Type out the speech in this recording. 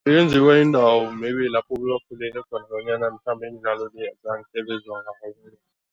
Yenziwa yindawo maybe lapho khona bonyana mhlambe imidlalo le